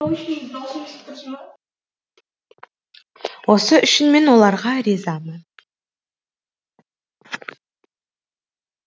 осы үшін мен оларға ризамын